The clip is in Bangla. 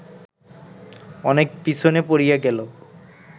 অনেক পিছনে পড়িয়া গেল